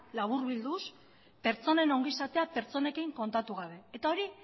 laburbilduz pertsonen ongizatea pertsonekin kontatu gabe eta hori